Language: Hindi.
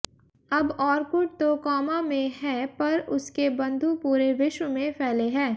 अब औरकुट तो कोमा में है पर उसके बन्धु पूरे विश्व में फैले है